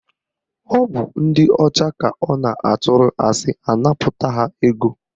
Ọ bụ ndị ọcha ka ọ na-atụrụ asị anapụta ha ego